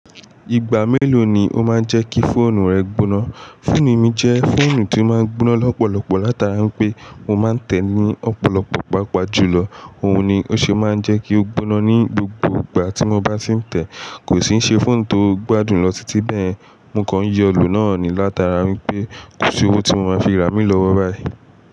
Ìgbà mélòó ni ó máa ń jẹ́ kí fóònù rẹ gbóná? Fóònù mi jẹ́ fóònù tí ó má ń gbóná lọ́pọ̀lọpọ̀ látara pé mo má ń tẹ̀ ẹ́ ní ọ̀pọ̀lọpọ̀ pàápàá jù lọ. Òun ni ó ṣe é má ń jẹ́ kí ó gbóná ní gbogbo ìgbà tí mo bá ti ń tẹ̀ ẹ́. Kò sì n se fóònù tó gbádùn lọ títí bẹ́ẹ̀. Mo kàn ń yọ lo náà ní látara wípé, ko si owó tí mo máa fi rà mí lọ́wọ́ báyìí.